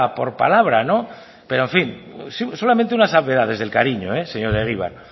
por palabra no pero en fin solamente una salvedad desde el cariño señor egibar